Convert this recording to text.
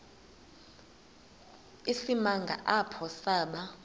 isimanga apho saba